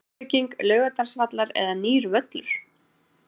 Endurbygging Laugardalsvallar eða nýr völlur?